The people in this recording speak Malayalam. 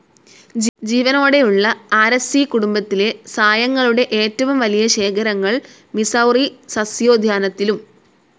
ജീവനോടെയുള്ള ആരെസ്സീ കുടുംബത്തിലെ സായങ്ങളുടെ ഏറ്റവും വലിയ ശേഖരങ്ങൾ മിസൗറി സസ്യോദ്യാനത്തിലും.